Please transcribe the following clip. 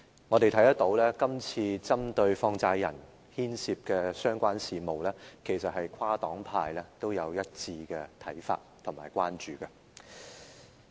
我們看到在針對放債人牽涉的相關事務中，跨黨派均有一致的看法及關注。